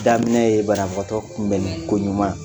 Daminɛ ye banabagatɔ tunbɛnni koɲuman